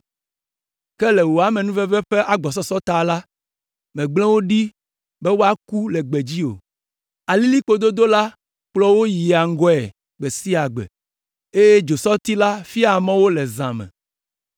ke le wò amenuveve ƒe agbɔsɔsɔ ta la, mègble wo ɖi be woaku le gbedzi o! Alilĩkpododo la kplɔa wo yia ŋgɔe gbe sia gbe, eye dzosɔti la fiaa mɔ wo le zã me.